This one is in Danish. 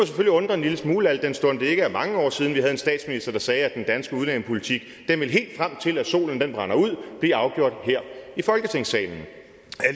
undre en lille smule al den stund det ikke er mange år siden vi havde en statsminister der sagde at den danske udlændingepolitik ville blive afgjort her i folketingssalen